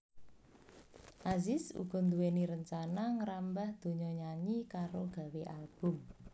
Azis uga nduwéni rencana ngrambah donya nyanyi karo gawé album